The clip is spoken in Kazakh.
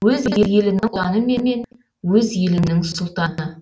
өз елінің ұлтаны мен өз елінің сұлтаны